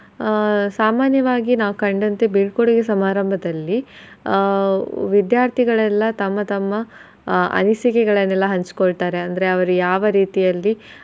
ಆಹ್ ಸಾಮಾನ್ಯವಾಗಿ ನಾವ್ ಕಂಡಂತೆ ಬೀಳ್ಕೊಡುಗೆ ಸಮಾರಂಭದಲ್ಲಿ ಆಹ್ ವಿದ್ಯಾರ್ಥಿಗಳೆಲ್ಲಾ ತಮ್ಮ ತಮ್ಮ ಆಹ್ ಅನಿಸಿಕೆಗಳನ್ನೆಲ್ಲಾ ಹಂಚಕೊಳ್ತಾರೆ ಅಂದ್ರೆ ಅವ್ರ ಯಾವ ರೀತಿಯಲ್ಲಿ.